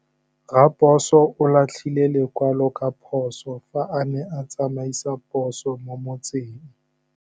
Raposo o latlhie lekwalô ka phosô fa a ne a tsamaisa poso mo motseng.